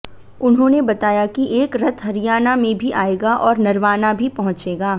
उन्होंने बताया कि एक रथ हरियाणा में भी आएगा और नरवाना भी पहुंचेगा